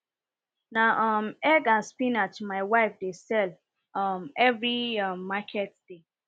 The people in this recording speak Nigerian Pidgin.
na um egg and spinach my wife dey sell um every um market day